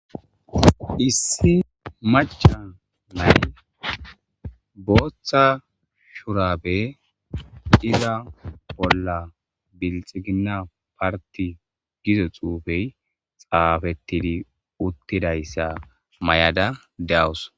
Issi macca nay booththa shuraabe iza bolla bilxiginna partti giza xuufey xaafettidi uttidayssa mayada deyawus.